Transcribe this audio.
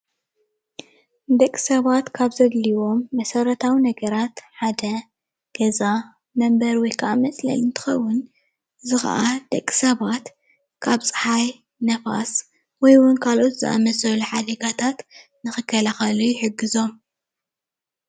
ንደቂ ሰባት ካብ ዘድልዮም መሰረታዊ ነገራት ሓደ ገዛ መንበሪ ወይ ክዓ መፅለሊ እንትከውን፣ እዚ ክዓ ንደቂ ሰባት ካብ ፅሓይ ንፋስ ወይ እውን ካልኦት ዝኣምሳሰሉ ሓደጋታት ንኽከላኸሉ ይሕግዞም፡፡